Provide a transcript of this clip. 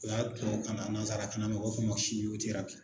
O y'a tubabukan na nansarakan na u b'a fɔ ma